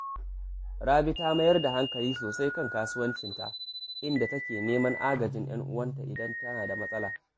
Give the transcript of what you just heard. Rabi ta mayar da hankali sosai a kan kasuwancinta, inda take neman agajin ‘yan uwanta idan tana da matsala